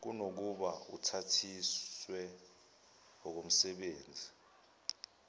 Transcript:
kunokuba uthathiswe okomsebenzi